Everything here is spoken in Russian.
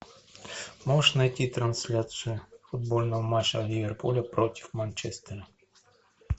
можешь найти трансляцию футбольного матча ливерпуля против манчестера